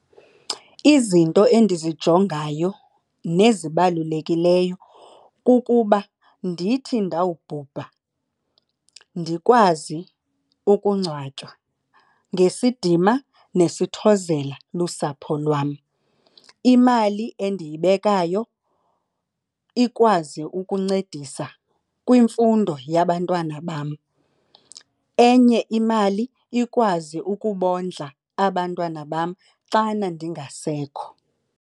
Izinto endizijongayo nezibalulekileyo kukuba ndithi ndawubhubha ndikwazi ukungcwatywa ngesidima nesithozela lusapho lwam. Imali endiyibekayo ikwazi ukuncedisa kwimfundo yabantwana bam. Enye imali ikwazi ukubondla abantwana bam xana ndingasekho.